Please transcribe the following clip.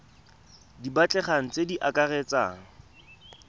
di batlegang tse di akaretsang